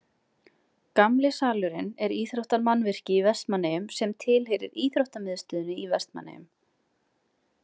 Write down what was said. Gamli-salurinn er íþróttamannvirki í Vestmannaeyjum sem tilheyrir Íþróttamiðstöðinni í Vestmannaeyjum.